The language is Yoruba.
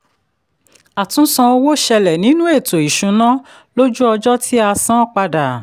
àtunsan owó ṣẹlẹ̀ nínú ètò ìṣúná lójú ọjọ́ tí a san padà.